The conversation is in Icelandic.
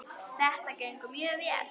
Þetta gengur mjög vel.